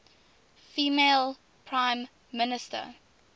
female prime minister